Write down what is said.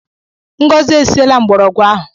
Ngọzi e siela mgbọrọgwụ ahụ.